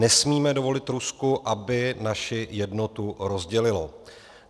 Nesmíme dovolit Rusku, aby naši jednotu rozdělilo.